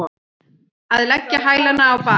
Að leggja hælana á bak